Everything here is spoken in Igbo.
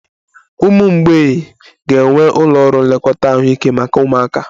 Ụmụ mgbei ga-enwe ụlọ ọrụ nlekọta ahụike maka ụmụaka